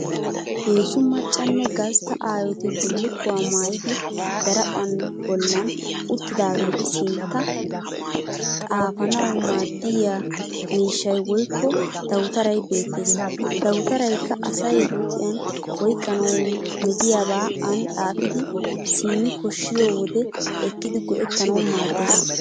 Heezzu maccanne gastta aayooti bullukkuwa maayidi daraphphan bollan uttidaageetu sintta xaafanawu maaddiya mishshay woykko dawutaray beettes. Ha dawutarayikka asay huuphiyan oyiqqanawu metiyabaa aani xaafidi simmi koshshiyo wode ekkidi go'ettanawu maaddes.